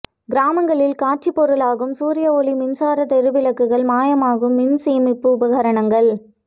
கிராமங்களில் காட்சிப் பொருளாகும் சூரிய ஒளி மின்சார தெரு விளக்குகள் மாயமாகும் மின்சேமிப்பு உபகரணங்கள்